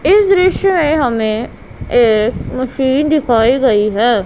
इस दृश्य में हमें एक मशीन दिखाई गई है।